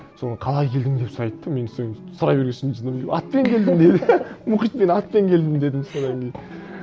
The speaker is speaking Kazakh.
соны қалай келдің деп сұрайды да мен содан кейін сұрай берген сон жыным келіп атпен келдім деп мұхитпен атпен келдім дедім содан кейін